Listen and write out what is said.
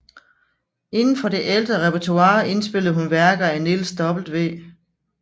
Inden for det ældre repertoire indspillede hun værker af Niels W